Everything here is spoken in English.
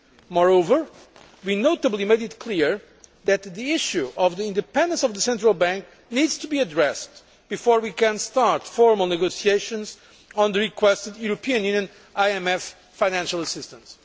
Moreover, we made it clear that the issue of the independence of the national central bank needs to be addressed before we can start formal negotiations on the requested EU IMF financial assistance.